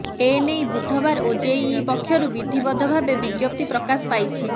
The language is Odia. ଏନେଇ ବୁଧବାର ଓଜେଇଇ ପକ୍ଷରୁ ବିଧିବଦ୍ଧ ଭାବେ ବିଜ୍ଞପ୍ତି ପ୍ରକାଶ ପାଇଛି